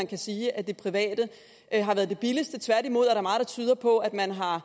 kan sige at det private har været det billigste tværtimod er der meget der tyder på at man har